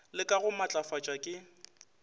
le ka go matlafatšwa ke